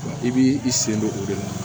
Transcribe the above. I b'i i sen don o de la